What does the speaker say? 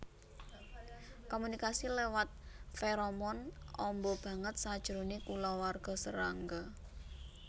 Komunikasi lewat feromon amba banget sajroné kulawarga serangga